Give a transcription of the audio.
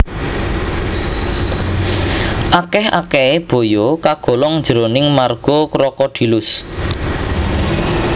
Akèh akèhé baya kagolong jroning marga Crocodylus